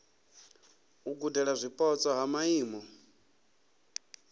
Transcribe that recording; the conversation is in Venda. u gudela zwipotso ha maimo